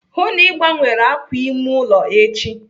Hụụ na Ị gbanwere àkwà ime ụlọ echi!